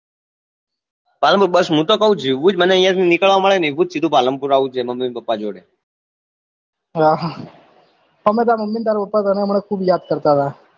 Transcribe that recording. palanpur બસ મુ તો કવું જેવું જ મને અહિયાં થી નીકળવા મળે એવું જ સીધું Palanpur આવું હે mummy papa જોડે અર અમેએ તાર mummy ને તાર papa હમણાં તને ખુબ યાદ કરતા હતા